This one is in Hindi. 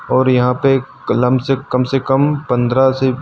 और यहां पे कलम से कम से कम पंद्रह से।